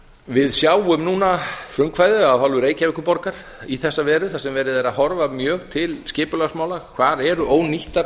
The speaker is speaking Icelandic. við sjáum núna frumkvæðið af hálfu reykjavíkurborgar í þessa veru þar sem verið er að horfa mjög til skipulagsmála hvað eru ónýttar